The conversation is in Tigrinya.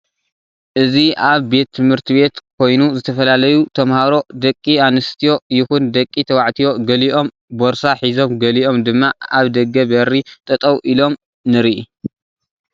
አዚ እብ ቤት ትሞህርቴ ቤት ኮይኑ ዝተፈለዪ ተማሃሩ ደቂ አንስትዮ ይኩን ደቂ ተባዓትዮ ገሊእም ፖርሳ ሒዞም ገሊኦም ድማ አብ ደገ በሪ ጠጠው ኢሎም ንርኢ።